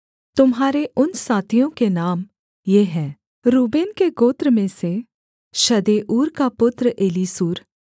तुम्हारे उन साथियों के नाम ये हैं रूबेन के गोत्र में से शदेऊर का पुत्र एलीसूर